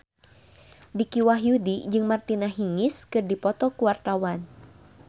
Dicky Wahyudi jeung Martina Hingis keur dipoto ku wartawan